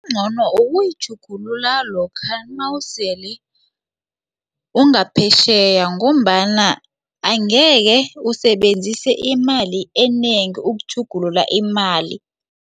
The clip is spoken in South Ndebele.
Okungcono ukuyitjhugulula lokha nawusele ungaphetjheya ngombana angeke usebenzise imali enengi ukutjhugulula imali.